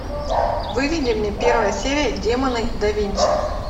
выведи мне первая серия демоны да винчи